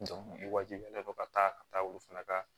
wajibiyalen don ka taa ka taa olu fana ka